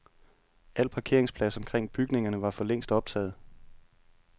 Al parkeringsplads omkring bygningerne var for længst optaget.